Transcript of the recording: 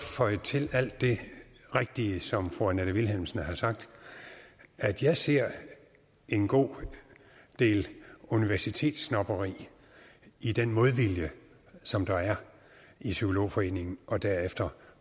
føje til alt det rigtige som fru annette vilhelmsen har sagt at jeg ser en god del universitetssnobberi i den modvilje som der er i psykologforeningen og derefter